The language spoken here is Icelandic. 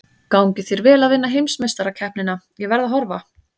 Gangi þér vel að vinna heimsmeistarakeppnina, ég verð að horfa.